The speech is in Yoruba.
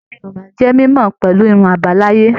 Ẹyà Yorùbá jẹ mímọ pẹlú irun abalaye.